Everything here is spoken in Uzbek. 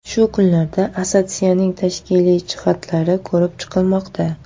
Shu kunlarda assotsiatsiyaning tashkiliy jihatlari ko‘rib chiqilmoqda.